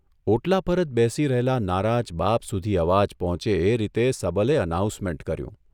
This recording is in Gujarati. ' ઓટલા પર જ બેસી રહેલા નારાજ બાપ સુધી અવાજ પહોંચે એ રીતે સબલે અનાઉન્સમેન્ટ કર્યું.